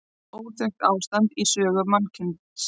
Óþekkt ástand í sögu mannkyns